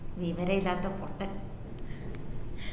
വിവരയില്ലാത്ത പൊട്ടൻ